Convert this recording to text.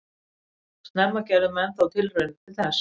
Snemma gerðu menn þó tilraunir til þess.